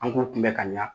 An k'u kunbɛ ka ɲa